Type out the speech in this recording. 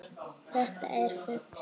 Þetta er fugl.